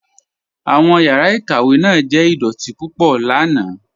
Awọn yàrá ikàwé náà jẹ̀ idọ̀tì púpọ̀ lànà.